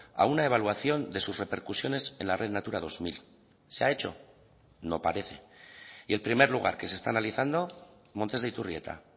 a una evaluación de sus repercusiones en la red natura dos mil se ha hecho no parece y el primer lugar que se está analizando montes de iturrieta